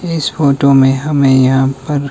इस फोटो में हमें यहां पर--